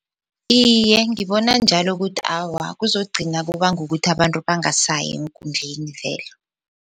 Iye, ngibona njalo ukuthi awa kuzogcina kubanga ukuthi abantu bangasayi eenkundleni vele.